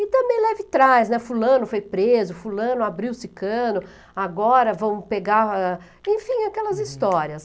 E também leve trás, né, fulano foi preso, fulano abriu-se cano, agora vão pegar... Enfim, aquelas histórias.